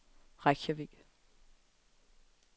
Reykjavik